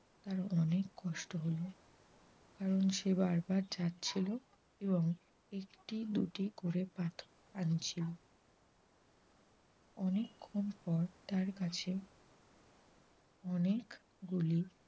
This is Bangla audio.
কারণ সে বারবার যাচ্ছিল এবং একটি দুটি করে পাথর আনছিল। অনেকক্ষন পর তার কাছে অনেকগুলি